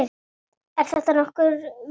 Er þetta nú nokkurt vit.